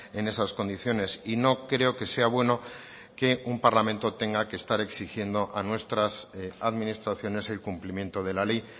en esas condiciones y no creo que sea bueno que un parlamento tenga que estar exigiendo a nuestras administraciones el cumplimiento de la ley